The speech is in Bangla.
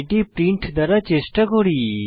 এটি প্রিন্ট দ্বারা চেষ্টা করি